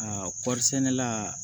Aa kɔrisɛnɛ la